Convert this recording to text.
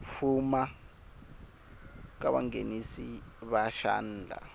fuma ka vanghenisi va xandla